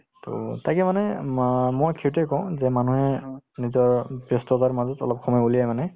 to তাকে মানে মা‍ মই সেইটোয়ে কওঁ যে মানুহে নিজৰ ব্যস্ততাৰ মাজত অলপ সময় উলিয়াই মানে